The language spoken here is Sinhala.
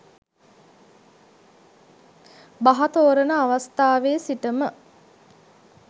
බහ තෝරන අවස්ථාවේ සිටම